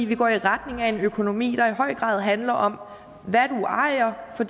vi går i retning af en økonomi der i høj grad handler om hvad du ejer og